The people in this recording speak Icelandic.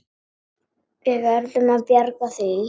Við verðum að bjarga því.